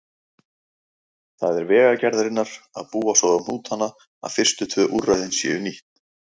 Það er Vegagerðarinnar að búa svo um hnútana að fyrstu tvö úrræðin séu nýtt.